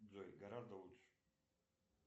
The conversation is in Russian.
джой гораздо лучше